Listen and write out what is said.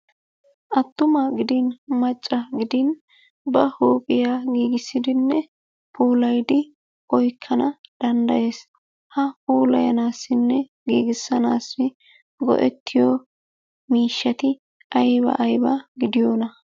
Attuma gidin macca gidin ba huuphiya giggissidinne puulaydi oykkana danddayees. Ha puulayanaassinne giggissanaassi go'ettiyo miishshati ayba ayba gidiyona?